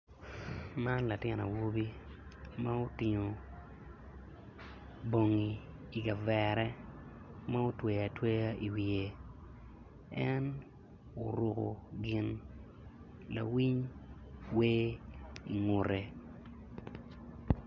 Man latin awobi ma otingo bongi i kavere mutweyo atweya i wiye en oruku gin lawiny wer ingutu